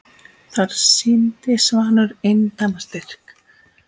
Þar sýndi Svanur eindæma styrk.